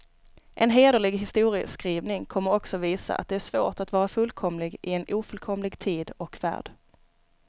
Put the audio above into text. En hederlig historieskrivning kommer också visa, att det är svårt att vara fullkomlig i en ofullkomlig tid och värld.